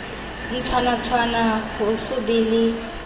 ntlwanatshwana ho so be le